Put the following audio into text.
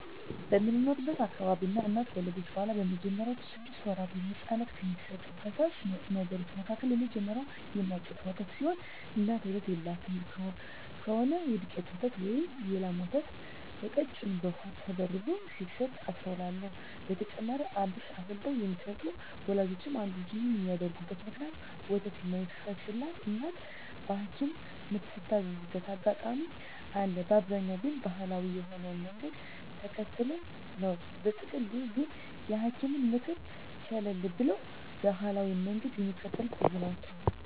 በምኖርበት አካባቢ አንድ እናት ከወለደች በኋላ በመጀመሪያወቹ ስድስት ወራት ለህጻናት ከሚሰጡ ፈሳሽ ነገሮች መካከል የመጀመሪያው የእናት ጡት ወተት ሲሆን እናት ወተት የለላት ከሆነች የዱቄት ወተት ወይም የላም ወተት በቀጭኑ በውሃ ተበርዞ ሲሰጥ አስተውላለው። በተጨማሪም አብሽ አፍልተው የሚሰጡ ወላጆችም አሉ። ይህን የሚያደርጉበት ምክንያት ወተት የማይፈስላት እናት በሀኪምም ምትታዘዝበት አጋጣሚ አለ፤ በአብዛኛው ግን ባሀላዊ የሆነውን መንገድ ተከትለው ነው። በጥቅሉ ግን የሀኪምን ምክር ቸለል ብለው ባሀላዊውን መንገድ ሚከተሉ ብዙ ናቸው።